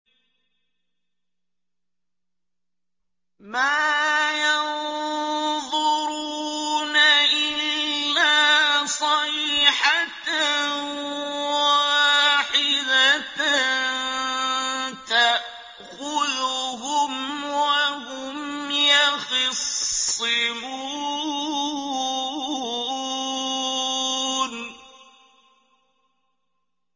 مَا يَنظُرُونَ إِلَّا صَيْحَةً وَاحِدَةً تَأْخُذُهُمْ وَهُمْ يَخِصِّمُونَ